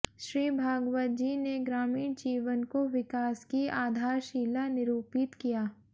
श्री भागवत जी ने ग्रामीण जीवन को विकास की आधारशिला निरूपित किया